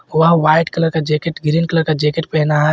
वह white colour का jacket green colour का जैकेट पहना है।